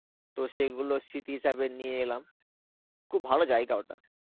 তো সেইগুলো স্মৃতি হিসাবে নিয়ে এলাম. খুব ভালো জায়গা ওটা.